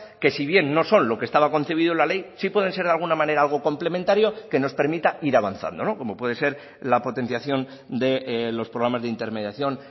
que si bien no son lo que estaba concebido en la ley sí pueden ser de alguna manera algo complementario que nos permita ir avanzando como puede ser la potenciación de los programas de intermediación